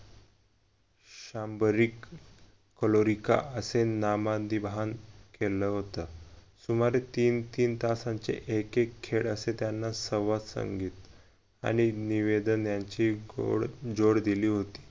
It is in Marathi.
शंभरीक असे फॉलोरिका असे नामाधीबन केलं होत. सुमारे तीन तीन तासांचे एक एक खेळ असे त्याना संवाद सांगितले आणि निवेदन यांची गोड जोड दिली होती.